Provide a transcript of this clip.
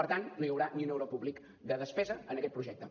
per tant no hi haurà ni un euro públic de despesa en aquest projecte